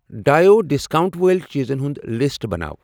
ڈایو discount وٲلۍ چیٖزن ہُنٛد لسٹ بناو۔